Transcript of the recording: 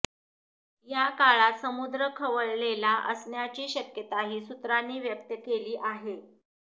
या काळात समुद्र खवळलेला असण्याची शक्यताही सूत्रांनी व्यक्त केली आहे